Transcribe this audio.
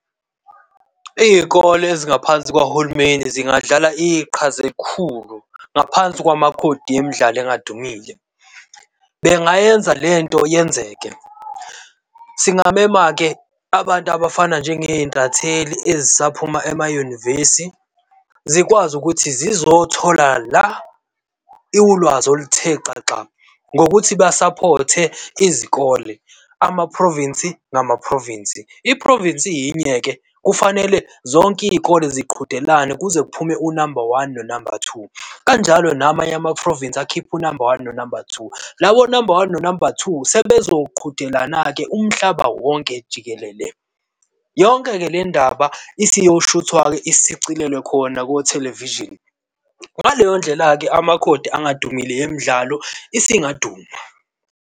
Izikole ezingaphansi kwahulumeni zingadlala iqhaza elikhulu ngaphansi kwamakhodi emidlalo engadumile. Bengayenza lento yenzeke. Singmema-ke abantu abafana njenge zintatheli esaphuma emayunivesi. Zikwazi ukuthi zizothola la ulwazi oluthe xaxa ngokuthi basaphothe izikole, ama-province ngama-province. I-province iyinye-ke kufanele zonke izikole ziqhudelane kuze kuphume unamba one nonamba two, kanjalo namanye ama-province akhiphe unamba one nonamba two. Labo namba one nonamba two sebezoqhudelana-ke umhlaba wonke jikelele. Yonke-ke le ndaba isiyoshuthwa-ke isicilelwe khona kothelevishini. Ngaleyo ndlela-ke amakhodi angadumile emidlalo isingaduma.